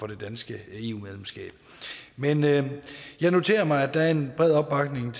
det danske eu medlemskab men jeg jeg noterer mig at der er en bred opbakning